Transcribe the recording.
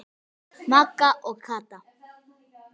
Magga og Kata.